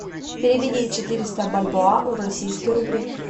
переведи четыреста бальбоа в российские рубли